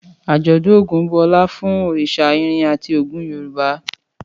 Àjọ̀dún Ògún bu ọlá fún òrìṣà irin àti ogun Yorùbá.